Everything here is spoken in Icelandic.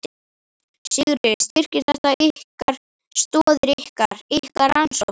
Sigríður: Styrkir þetta ykkar, stoðir ykkar, ykkar rannsókna?